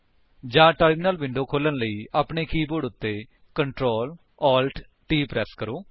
ਜਾਂ terminal window ਖੋਲ੍ਹਣ ਲਈ ਆਪਣੇ ਕੀਬੋਰਡ ਉੱਤੇ Ctrl Alt T ਪ੍ਰੇਸ ਕਰੋ